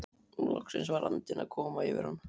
Loksins var andinn að koma yfir hann!